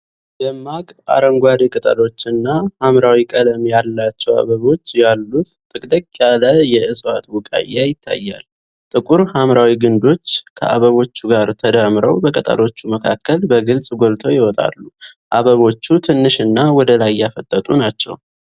ደማቅ አረንጓዴ ቅጠሎችና ሐምራዊ ቀለም ያላቸው አበቦች ያሉት ጥቅጥቅ ያለ የእፅዋት ቡቃያ ይታያል። ጥቁር ሐምራዊ ግንዶች ከአበቦቹ ጋር ተዳምረው በቅጠሎቹ መካከል በግልጽ ጎልተው ይወጣሉ። አበቦቹ ትንሽና ወደ ላይ ያፈጠጡ ናቸው።